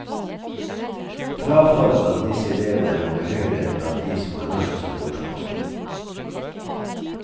Frafallet blant disse elvene er noe høyere enn blant de som har norsk som morsmål.